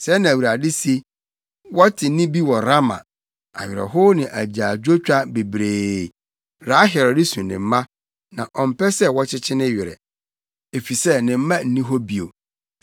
Sɛɛ na Awurade se: “Wɔte nne bi wɔ Rama, awerɛhow ne agyaadwotwa bebree, Rahel resu ne mma na ɔmpɛ sɛ wɔkyekye ne werɛ, efisɛ ne mma nni hɔ bio.”